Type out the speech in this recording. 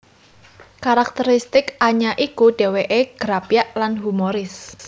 Karakteristik Anya iku dhèwèké grapyak lan humoris